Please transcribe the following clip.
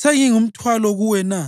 Sengingumthwalo kuwe na?